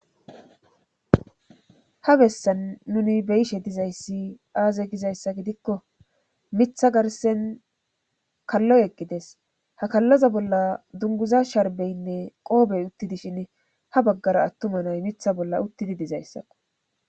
ha bessan nuni beyishe dizayssi aaze gizayssa gidikko mitha garsen kallo eqqides ha kallaza bolla dunguza sharbeynne qoobey uttidi shin ha baggara attuma nay mitha bolla uttidi dizayssakko